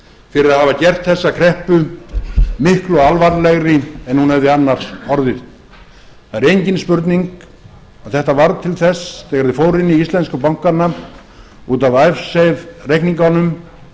fyrir að hafa gert þessa kreppu miklu alvarlegri en hún hefði annars orðið það er engin spurning að þetta varð til þess að þegar þeir fóru inn í íslensku bankana út af icesave reikningunum